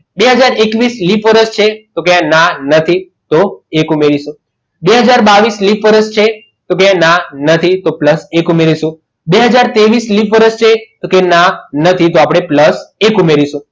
બે હાજર એકવીસ લિપ વર્ષ છે તો ક્યાં ના નથી તો એક ઉમેરીશું બે હાજર બાવીશ લિપ વર્ષ છે તો કે ના નથી તો plus એક ઉમેરીશું બે હાજર ત્રેવીસ લિપ વર્ષ છે તો કે ના નથી તો આપણે plus એક ઉમેરીશું